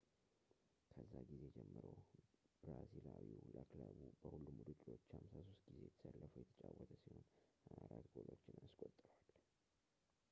ከዛ ጊዜ ጀምሮ ብራዚሊያዊው ለክለቡ በሁሉም ውድድሮች 53 ጊዜ ተሰልፎ የተጫወተ ሲሆን 24 ጎሎችን አስቆጥሯል